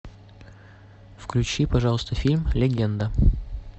включи пожалуйста фильм легенда